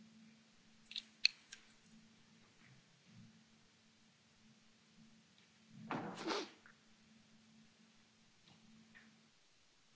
Mr President, honourable Members, I'm not going to repeat what I have already been saying, that we have been witnessing with great concern